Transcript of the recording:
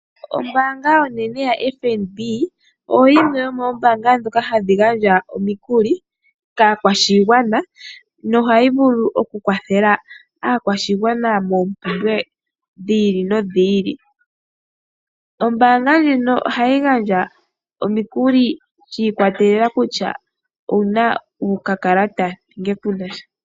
Ombaanga onenene ya FNB, oyo yimwe yomoombaanga ndhoka hadhi gandja omikuli kaakwashugwana, noha yi vulu oku kwathela aakwashigwana moompumbwe dhi ili nodhi ili. Ombaanga ndjino oha yi gandja omikuli shi ikwatelela kutya owu na okakakata nenge ku na sha.